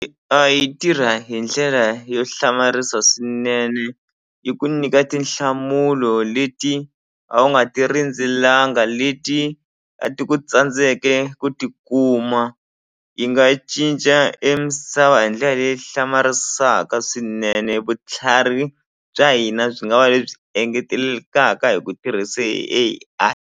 yi tirha hi ndlela yo hlamarisa swinene yi ku nyika tinhlamulo leti a wu nga ti rindzelanga leti a ti ku tsandzeke ku ti kuma yi nga cinca e misava hi ndlela leyi hlamarisaka swinene vutlhari bya hina byi nga va lebyi engetelelekaka hi ku tirhisa A_I.